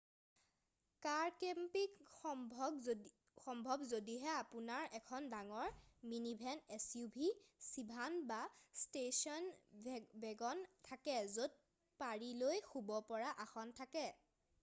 কাৰ camping সম্ভৱ যদিহে আপোনাৰ এখন ডাঙৰ মিনিভেন suv চিডান বা ষ্টেছন ৱেগন থাকে য'ত পাৰি লৈ শুব পৰা আসন থাকে